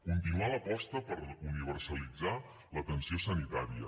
continuar l’aposta per universalitzar l’atenció sanitària